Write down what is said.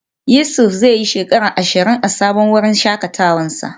Yusuf zai yi shekara ashirin a sabon wurin shakatawa nasa.